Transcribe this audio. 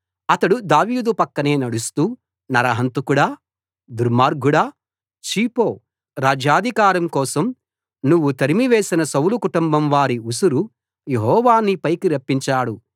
అతడు దావీదు పక్కనే నడుస్తూ నరహంతకుడా దుర్మార్గుడా ఛీ పో ఛీ పో రాజ్యాధికారం కోసం నువ్వు తరిమివేసిన సౌలు కుటుంబంవారి ఉసురు యెహోవా నీపైకి రప్పించాడు